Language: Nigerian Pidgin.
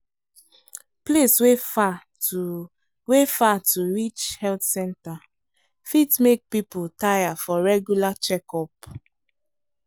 place wey far to wey far to reach health centre fit make people tire for regular checkup.